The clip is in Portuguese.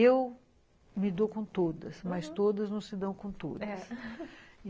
Eu me dou com todas, mas todas não se dão com todas, é